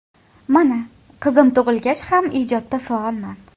Mana, qizim tug‘ilgach ham ijodda faolman.